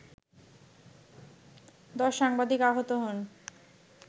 ১০ সাংবাদিক আহত হন